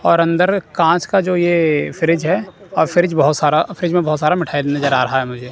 और अंदर कांच का जो ये फ्रिज है और फ्रिज बहुत सारा फ्रिज में बहुत सारा मिठाई नजर आ रहा है मुझे।